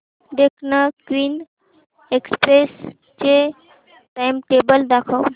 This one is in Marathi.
डेक्कन क्वीन एक्सप्रेस चे टाइमटेबल दाखव